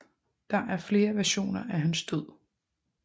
Der er flere versioner af hans død